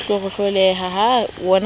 ho hlohloreha ha modula le